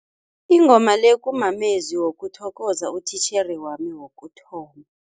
Ingoma le kumamezwi wokuthokoza utitjhere wami wokuthoma.